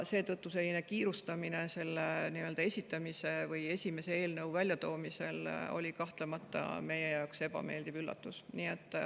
Selline kiirustamine selle esimese eelnõu väljatoomisel oli meie jaoks kahtlemata ebameeldiv üllatus.